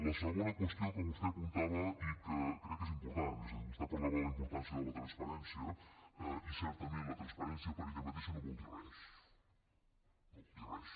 la segona qüestió que vostè apuntava i que crec que és important és a dir vostè parlava de la importància de la transparència i certament la transparència per ella mateixa no vol dir res no vol dir res